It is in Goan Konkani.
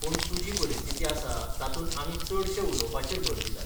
पूण तुजी परिस्थिती आसा तातूंत आमी चडशें उलोवपाचेर भर दितात.